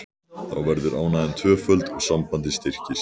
Þá verður ánægjan tvöföld og sambandið styrkist.